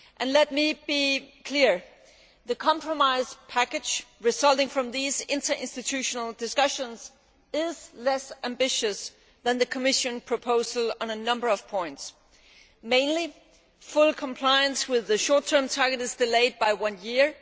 Let me be clear the compromise package resulting from these interinstitutional discussions is less ambitious than the Commission proposal on a number of points. Mainly, full compliance with the short term target is delayed by one year